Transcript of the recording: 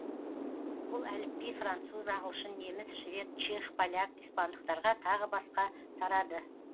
бұл әліпби француз ағылшын неміс швед чех поляк испандықтарға тағы басқа тарады